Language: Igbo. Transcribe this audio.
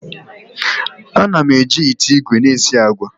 Ana m eji ite igwe na esi agwa.